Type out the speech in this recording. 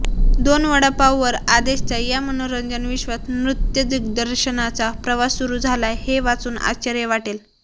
दोन वडापाववर आदेशचा या मनोरंजन विश्वात नृत्यदिग्दर्शनाचा प्रवास सुरू झालाय हे वाचून आश्चर्य वाटेल